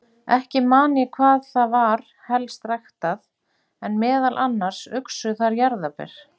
Ekki man ég hvað þar var helst ræktað, en meðal annars uxu þar jarðarber.